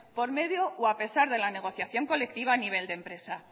por medio o a pesar de la negociación colectiva a nivel de la empresa